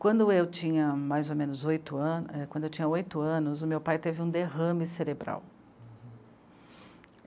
Quando eu tinha mais ou menos oito an... é, quando eu tinha oito anos, o meu pai teve um derrame cerebral. Uhum.